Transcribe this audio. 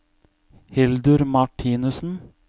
Hildur Martinussen